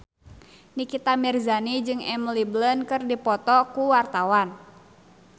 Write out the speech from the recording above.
Nikita Mirzani jeung Emily Blunt keur dipoto ku wartawan